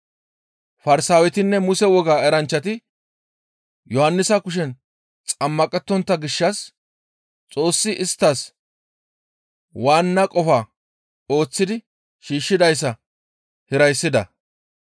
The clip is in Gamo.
Farsaawetinne Muse wogaa eranchchati Yohannisa kushen xammaqettontta gishshas Xoossi isttas waanna qofa ooththidi shiishshidayssa hirayssida.